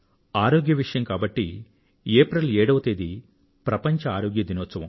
ఆరోగ్యం విషయం కాబట్టి ఏప్రిల్ 7వ తారీఖు ప్రపంచ ఆరోగ్య దినోత్సవం